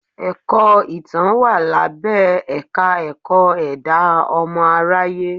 Ẹ̀kọ́ Ìtàn wà lábẹ́ Ẹ̀ka-ẹ̀kọ́ ẹ̀dá ọmọ aráyé.